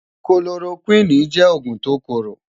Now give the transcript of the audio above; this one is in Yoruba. Kólórókwini jè ógún tó kóró